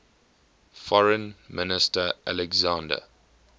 foreign minister alexander